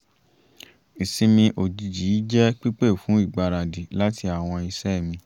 ìsinmi ojìjì yìí jẹ́ pípé fún ìgbaradì láti àwọn iṣẹ́ mi